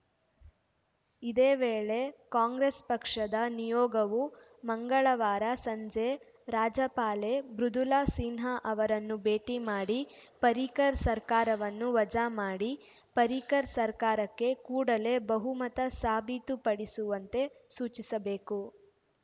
ಇದೇ ವೇಳೆ ಕಾಂಗ್ರೆಸ್‌ ಪಕ್ಷದ ನಿಯೋಗವು ಮಂಗಳವಾರ ಸಂಜೆ ರಾಜ್ಯಪಾಲೆ ಮೃದುಲಾ ಸಿನ್ಹಾ ಅವರನ್ನು ಭೇಟಿ ಮಾಡಿ ಪರ್ರಿಕರ್‌ ಸರ್ಕಾರವನ್ನು ವಜಾ ಮಾಡಿ ಪರ್ರಿಕರ್‌ ಸರ್ಕಾರಕ್ಕೆ ಕೂಡಲೇ ಬಹುಮತ ಸಾಬೀತುಪಡಿಸುವಂತೆ ಸೂಚಿಸಬೇಕು